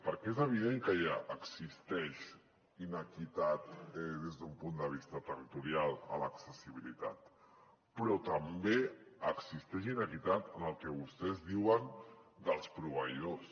perquè és evident que ja existeix inequitat des d’un punt de vista territorial a l’accessibilitat però també existeix inequitat en el que vostès diuen dels proveïdors